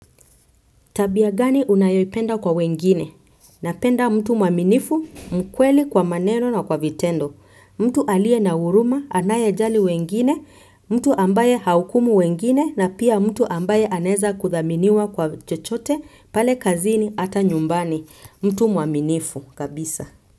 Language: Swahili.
Tabia gani unayoipenda kwa wengine napenda mtu mwaminifu, mkweli kwa maneno na kwa vitendo. Mtu aliyenahuruma anayejali wengine, mtu ambaye haukumu wengine na pia mtu ambaye anaeza kudhaminiwa kwa chochote pale kazini ata nyumbani. Mtu mwaminifu kabisa.